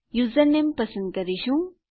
username પસંદ કરીશું